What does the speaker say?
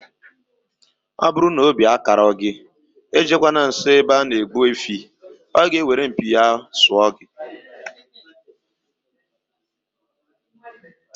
Ọbụrụ na obi akarọ gị, ejekwana nsọ ebe ana egbu efi oo, ọ ga eweru mpi ya wee sụọ gị